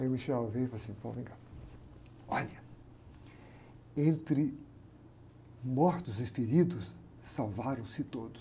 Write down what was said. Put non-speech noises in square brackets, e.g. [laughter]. Aí o [unintelligible] veio e falou assim, [unintelligible] vem cá, olha, entre mortos e feridos, salvaram-se todos.